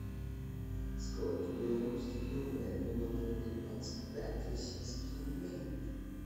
сколько белорусских рублей мне должны за двадцать пять российских рублей